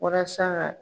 Walasa ka